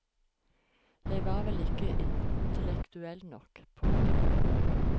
Jeg var vel ikke intellektuell nok. punktum